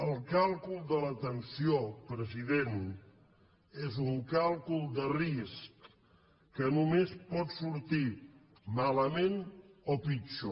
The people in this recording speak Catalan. el càlcul de la tensió president és un càlcul de risc que només pot sortir malament o pitjor